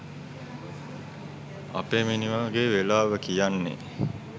අපේ මිනිහගෙ වෙලාව කියන්නෙ